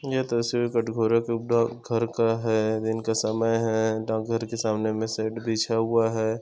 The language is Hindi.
यह तस्वीर कटघोरा के डाकघर का है दिन का समय है डाकघर के सामने में शेड बिछा हुआ है।